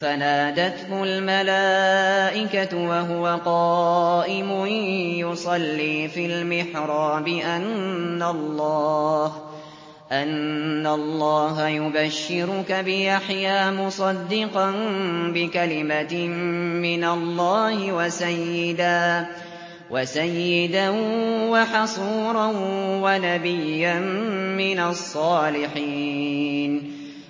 فَنَادَتْهُ الْمَلَائِكَةُ وَهُوَ قَائِمٌ يُصَلِّي فِي الْمِحْرَابِ أَنَّ اللَّهَ يُبَشِّرُكَ بِيَحْيَىٰ مُصَدِّقًا بِكَلِمَةٍ مِّنَ اللَّهِ وَسَيِّدًا وَحَصُورًا وَنَبِيًّا مِّنَ الصَّالِحِينَ